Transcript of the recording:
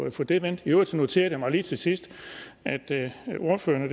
at få det vendt i øvrigt noterede jeg mig lige til sidst at ordføreren